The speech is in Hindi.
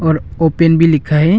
और ओपन भी लिखा है।